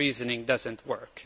That reasoning does not work.